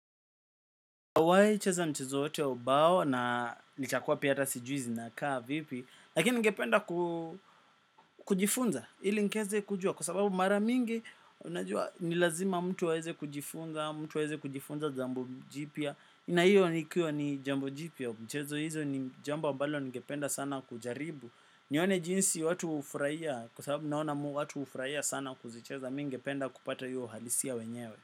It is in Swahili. Nimewai cheza mchezo wote wa ubao na nikakuwa pia hata sijui zinakaa vipi lakini ningependa kujifunza ili nikieze kujua. Kwa sababu mara mingi unajua ni lazima mtu aweze kujifunza. Mtu awaeze kujifunza jambo jipya na hiyo nikiwa ni jambo jipya. Mchezo hizo ni jambo ambalo ningependa sana kujaribu. Nione jinsi watu hufurahia. Kwa sababu naona mu watu hufurahia sana kuzicheza. Mi ningependa kupata hiyo uhalisia wenyewe.